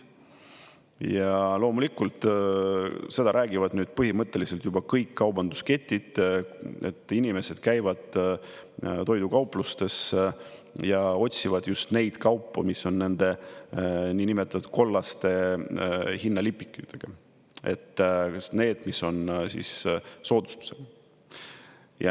Ja loomulikult, seda räägivad nüüd põhimõtteliselt juba kõik kaubandusketid, et inimesed käivad toidukauplustes ja otsivad just neid kaupu, mis on nende niinimetatud kollaste hinnalipikutega, need, mis on soodustused.